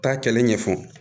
Taa kɛlɛ ɲɛfɔ